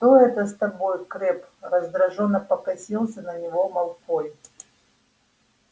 что это с тобой крэбб раздражённо покосился на него малфой